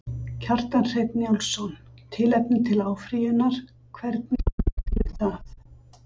Kjartan Hreinn Njálsson: Tilefni til áfrýjunar, hvernig meturðu það?